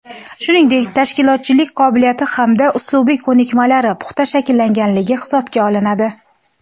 shuningdek tashkilotchilik qobiliyati hamda uslubiy ko‘nikmalari puxta shakllanganligi hisobga olinadi;.